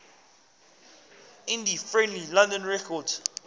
indie friendly london records